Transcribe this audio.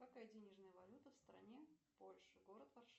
какая денежная валюта в стране польша город варшава